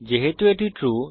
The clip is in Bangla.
যেহেতু এটি ট্রু